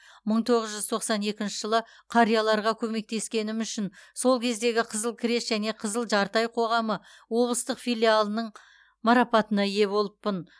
мың тоғыз жүз тоқсан екінші жылы қарияларға көмектескенім үшін сол кездегі қызыл крест және қызыл жарты ай қоғамы облыстық филиалының марапатына ие болыппын